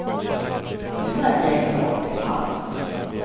Nu märker jag inte av det alls.